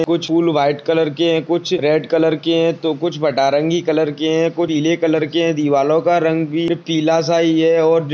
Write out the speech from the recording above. कुछ फूल white colour के है कुछ रेड कलर के है तो कुछ फटारंगी कलर के है कुरिले कलर के है दीवालों का रंग भी पीला- सा ही है और जो --